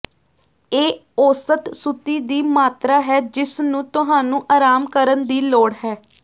ਇਹ ਔਸਤ ਸੁੱਤੀ ਦੀ ਮਾਤਰਾ ਹੈ ਜਿਸਨੂੰ ਤੁਹਾਨੂੰ ਆਰਾਮ ਕਰਨ ਦੀ ਲੋੜ ਹੈ